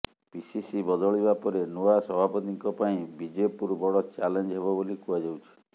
PCC ବଦଳିବା ପରେ ନୂଆ ସଭାପତିଙ୍କ ପାଇଁ ବିଜେପୁର ବଡ ଚ୍ୟାଲେଞ୍ଜ ହେବ ବୋଲି କୁହାଯାଉଛି